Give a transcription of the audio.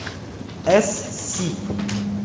эс сиб